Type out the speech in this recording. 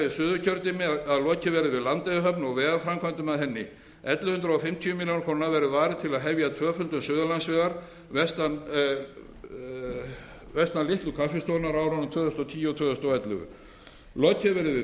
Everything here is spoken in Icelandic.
suðurkjördæmi að lokið verður við landeyjahöfn og vegaframkvæmdum að henni ellefu hundruð fimmtíu ár verður varið til að hefja tvöföldun suðurlandsvegar vestan litlu kaffistofunnar á árunum tvö þúsund og tíu til tvö þúsund og ellefu lokið